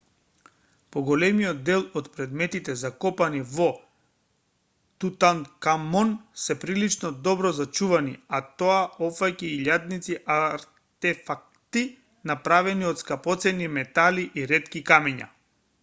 поголемиот дел од предметите закопани со тутанкамон се прилично добро зачувани а тоа опфаќа и илјадници артефакти направени од скапоцени метали и ретки камења